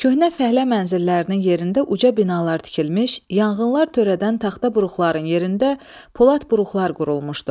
Köhnə fəhlə mənzillərinin yerində uca binalar tikilmiş, yanğınlar törədən taxta buruqların yerində polad buruqlar qurulmuşdu.